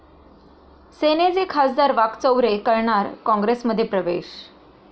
सेनेचे खा. वाकचौरे करणार काँग्रेसमध्ये प्रवेश